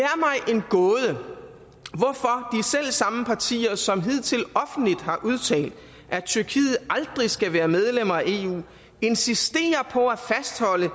selv samme partier som hidtil offentligt har udtalt at tyrkiet aldrig skal være medlem af eu insisterer